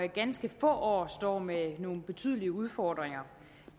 ganske få år står med nogle betydelige udfordringer